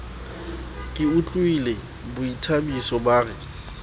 ke utlwile bothabiso ba re